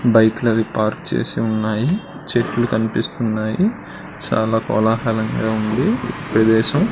బైకులు అవి పార్క్ చేసి ఉన్నాయి. చెట్లు కనిపిస్తున్నాయి. చాలా కోలాహలంగా ఉంది ప్రదేశం.